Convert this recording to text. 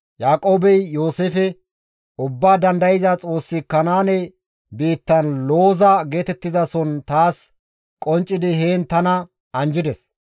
Yaaqoobey Yooseefe, «Ubbaa Dandayza Xoossi Kanaane biittan Looza geetettizason taas qonccidi heen tana anjjides.